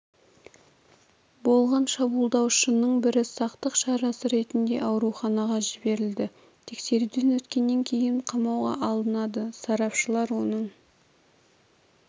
болған шабуылдаушының бірі сақтық шарасы ретінде ауруханаға жіберілді тексеруден өткеннен кейін қамауға алынады сарапшылар оның